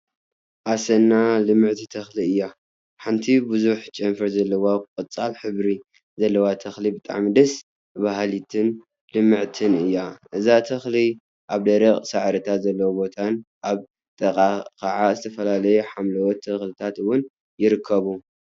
አሰና ! ልምዕቲ ተክሊ እያ፡፡ ሓንቲ ቡዙሕ ጨንፈር ዘለዋ ቆፃል ሕብሪ ዘለዋ ተክሊ ብጣዕሚ ደስ በሃሊትን ልምዕትን እያ፡፡ እዛ ተክሊ አብ ደረቅ ሳዕሪታት ዘለውዎ ቦታን አብ ጥቅአ ከዓ ዝተፈላለዩ ሓምለዎት ተክሊታት እውን ይርከበኩ፡፡